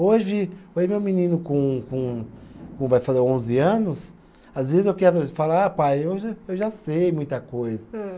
Hoje, hoje meu menino com com com vai fazer onze anos, às vezes eu quero falar, ah pai, eu já, eu já sei muita coisa. Ham